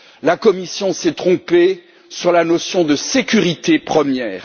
La Commission s'est trompée sur la notion de sécurité première.